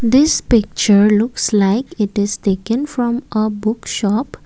this picture looks like it is taken from a book shop.